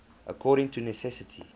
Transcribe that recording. according to necessity